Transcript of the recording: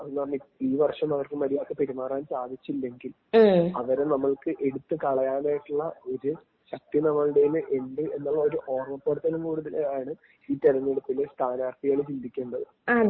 അതെന്നു പറഞ്ഞാല്‍ ഈ വർഷം അവർക്ക് മര്യാദക്ക് പെരുമാറാൻ സാധിച്ചില്ലെങ്കിൽ അവരെ നമ്മൾക്ക് എടുത്തു കളയാനായിട്ടുള്ള ഒരു ശക്തി നമ്മുടേല് ഉണ്ട് എന്നുള്ള ഒരു ഓർമ്മ പ്പെടുത്തലും കൂടിയാണ് ഈ തിരഞ്ഞെടുപ്പില് സ്ഥാനാർത്ഥികള് ചിന്തിക്കേണ്ടത്.